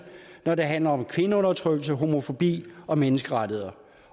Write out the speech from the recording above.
når det handler om kvindeundertrykkelse homofobi og menneskerettigheder